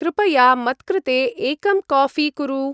कृपया मत्कृते एकं काऴी कुरु।